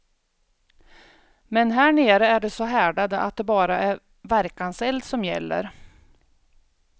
Men här nere är de så härdade att det bara är verkanseld som gäller.